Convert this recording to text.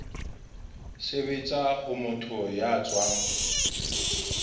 sebetsa ho motho ya tswang